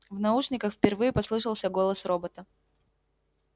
в наушниках впервые послышался голос робота